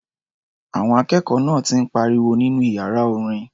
Àwọn akẹ́kọ̀ọ́ náà ti ń pariwo nínú iyàra orin.